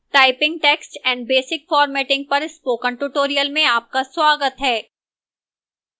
typing text and basic formatting पर spoken tutorial में आपका स्वागत है